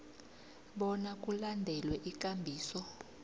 bona kulandelwe ikambiso